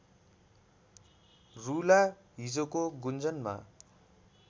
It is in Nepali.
रूला हिजोको गुन्जनमा